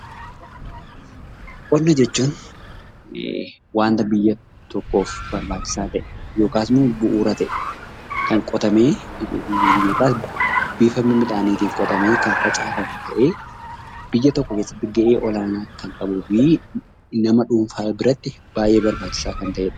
Qonnaa jechuun wanta biyya tokkoof barbaachisaa ta'e yookiin immoo bu'uura ta'e kotamee midhaan kan facaafamu ta'ee biyya tokko keessatti gahee olaanaa kan qabuu fi nama dhuunfaa biraatti baay'ee barbaachisaa kan ta'edha.